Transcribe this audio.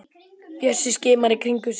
Bjössi skimar í kringum sig.